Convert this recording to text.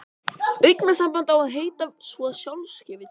Augnsamband á að heita svo sjálfgefið.